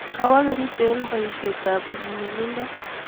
Kawo Kericho eng boishet ab nyumnyumindo